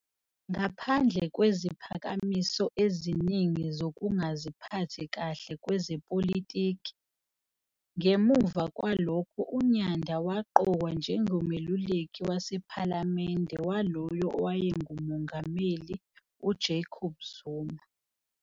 Ngaphandle kweziphakamiso eziningi zokungaziphathi kahle kwezepolitiki, ngemuva kwalokho uNyanda waqokwa njengomeluleki wasePhalamende walowo owayenguMongameli uJacob Zuma.